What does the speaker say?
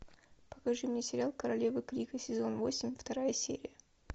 покажи мне сериал королевы крика сезон восемь вторая серия